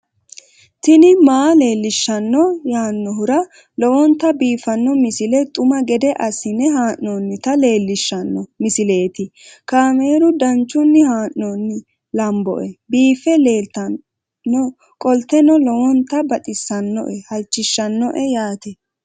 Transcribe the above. tini maa leelishshanno yaannohura lowonta biiffanota misile xuma gede assine haa'noonnita leellishshanno misileeti kaameru danchunni haa'noonni lamboe biiffe leeeltannoqolten lowonta baxissannoe halchishshanno yaate